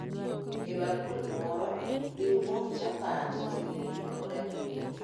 E bakul moro, riw mok chapat, chumbi kod apilo